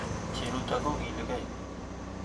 Cheruto kokiligei